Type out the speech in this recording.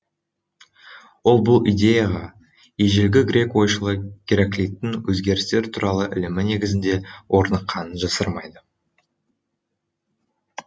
ол бұл идеяға ежелгі грек ойшылы гераклиттің өзгерістер туралы ілімі негізінде орныққанын жасырмайды